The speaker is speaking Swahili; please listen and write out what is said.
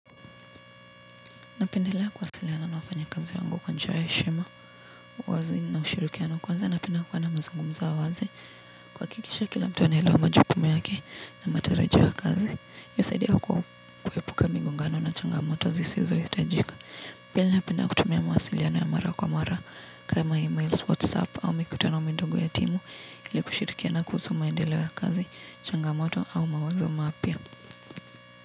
Napendelea kuwasiliana na wafanyakazi wangu kwa njia ya heshima, wazi na ushirikiano kwanza napenda kuwa na mazungumzo ya wazi. Kuhakikisha kila mtu anaelewa majukumu yake na matarajio ya kazi, yasaidia kuepuka migongano na changamoto zisizohitajika. Pili napenda kutumia mawasiliano ya mara kwa mara kama e-mails, whatsapp au mikutana midogo ya timu ili kushirikiana kuhusu maendeleo ya kazi, changamoto au mawazo mapya.